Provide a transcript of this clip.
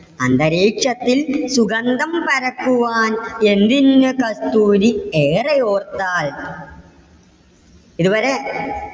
അന്തരീക്ഷത്തിൽ സുഗന്ധം പരത്തുവാൻ എന്തിന്ന് കസ്തുരി ഏറെ ഓർത്താൽ. ഇതുവരെ